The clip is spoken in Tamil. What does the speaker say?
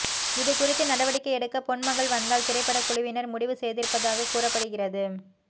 இது குறித்து நடவடிக்கை எடுக்க பொன்மகள் வந்தாள் திரைப்படக் குழுவினர் முடிவு செய்திருப்பதாக கூறப்படுகிறது